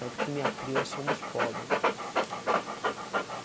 Tanto que me (acrio é) somos pobre.